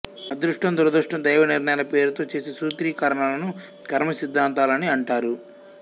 అదృష్టం దురదృష్టం దైవ నిర్ణయాల పేరుతో చేసే సూత్రీకరణలను కర్మ సిధ్ధాంతాలని అంటారు